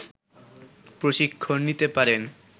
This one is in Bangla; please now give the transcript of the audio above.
প্রশিক্ষণ নিতে পারেন